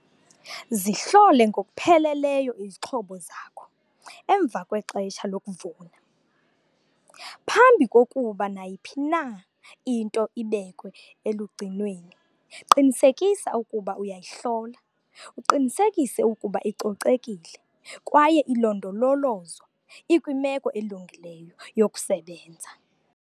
Zihlole ngokupheleleyo izixhobo zakho emva kwexesha lokuvuna. Phambi kokuba nayiphi na into ibekwe elugcinweni qinisekisa ukuba uyayihlola uqinisekise ukuba icocekile kwaye ilondololozwa ikwimeko elungileyo yokusebenza.